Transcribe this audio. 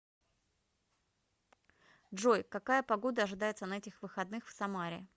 джой какая погода ожидается на этих выходных в самаре